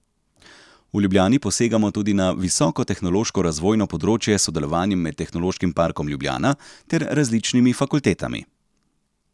V Ljubljani posegamo tudi na visokotehnološko razvojno področje s sodelovanjem med Tehnološkim parkom Ljubljana ter različnimi fakultetami.